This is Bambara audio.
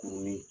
Kurunin